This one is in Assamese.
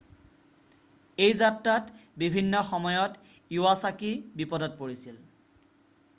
এই যাত্ৰাত বিভিন্ন সময়ত ইৱাছাকি বিপদত পৰিছিল